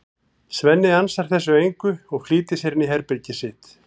Svenni ansar þessu engu og flýtir sér inn í herbergið sitt.